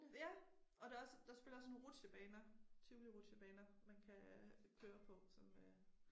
Ja og der også der selvfølgelig også sådan rutsjebaner Tivoli rutsjebaner man kan køre på som øh